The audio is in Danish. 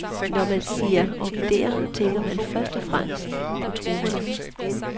Når man siger orkidéer, tænker man først og fremmest på troperne.